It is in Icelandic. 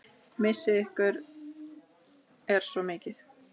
Missir ykkar er svo mikill.